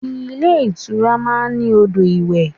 Ilé ìtura máa ń ní odò ìwẹ̀.